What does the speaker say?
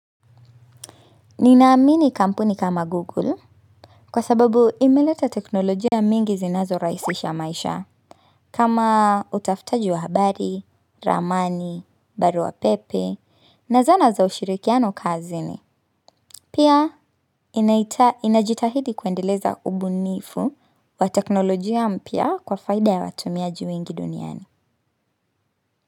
Ninaamini kampuni kama Google kwa sababu imeleta teknolojia mingi zinazo raisisha maisha kama utafutaji wa habari, ramani, baru wa pepe na zana za ushirikiano kazi ni. Pia inajitahidi kuendeleza ubunifu wa teknolojia mpia kwa faida ya watumiaji wengi duniani.